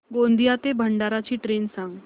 गोंदिया ते भंडारा ची ट्रेन सांग